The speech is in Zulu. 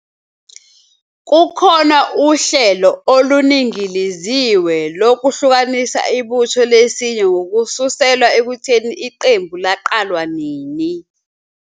Kukhona uhlelo oluningiliziwe lokwehlukanisa ibutho lesinye ngokususelwa ekutheni iqembu laqalwa nini.